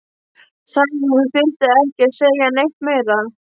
Sagði að hún þyrfti ekki að segja neitt meira.